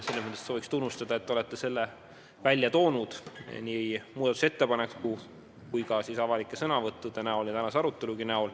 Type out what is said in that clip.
Selles mõttes avaldan tunnustust, et te olete selle välja toonud nii muudatusettepaneku näol kui ka avalikes sõnavõttudes ja tänases arutelus.